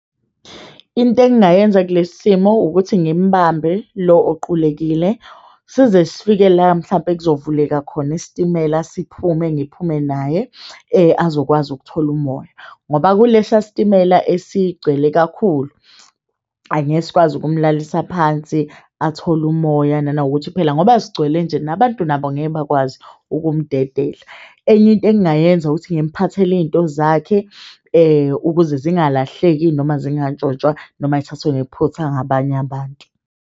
Into engingayenza kulesi simo ukuthi ngimbambe lo oqulekile size sifike la mhlampe kuzovuleka khona isitimela. Siphume ngiphume naye azokwazi ukuthola umoya ngoba kulesiya sitimela esigcwele kakhulu. Angeke sikwazi okumulalisa phansi athole umoya, nanokuthi phela ngoba sigcwele nje nabantu nabo ngeke bakwazi ukumdedela. Enye into engingayenza ukuthi ngimuphathele iyinto zakhe ukuze zingalahleki, noma zingantshontshwa noma yithathwe ngephutha ngabanye abantu.